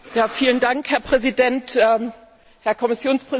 Herr Präsident, Herr Kommissionspräsident!